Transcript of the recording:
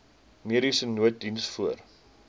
mediese nooddiens voor